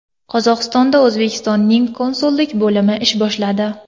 Qozog‘istonda O‘zbekistonning konsullik bo‘limi ish boshladi.